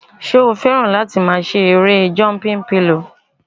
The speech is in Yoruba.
Ṣé o fẹ́ràn láti máa ṣe erée jọmpin pilò?